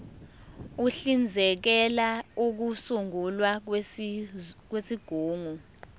uhlinzekela ukusungulwa kwezigungu